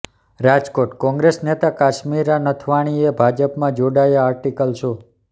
રાજકોટઃ કોંગ્રેસ નેતા કાશ્મીરા નથવાણીએ ભાજપમાં જોડાયાં આર્ટિકલ શો